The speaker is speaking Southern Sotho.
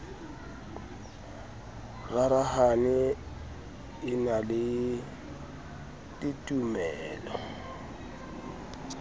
rarahane e na le ditumelo